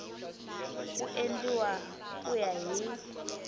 ku endliwa ku ya hi